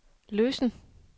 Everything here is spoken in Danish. løsen